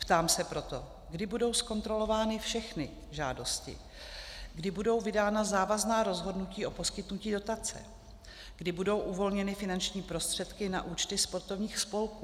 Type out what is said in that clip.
Ptám se proto, kdy budou zkontrolovány všechny žádosti, kdy budou vydána závazná rozhodnutí o poskytnutí dotace, kdy budou uvolněny finanční prostředky na účty sportovních spolků.